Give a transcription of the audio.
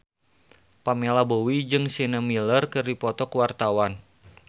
Pamela Bowie jeung Sienna Miller keur dipoto ku wartawan